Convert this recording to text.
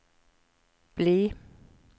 bli